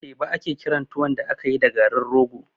Teba ake kiran tuwon da akayi da garin rogo